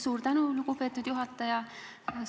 Suur tänu, lugupeetud juhataja!